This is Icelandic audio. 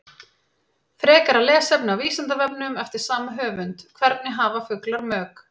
Frekara lesefni á Vísindavefnum eftir sama höfund: Hvernig hafa fuglar mök?